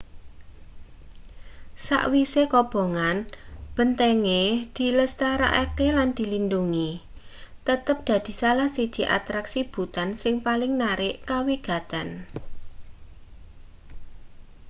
sakwise kobongan bentenge dilestarekake lan dilindhungi tetep dadi salah siji atraksi bhutan sing paling narik kawigaten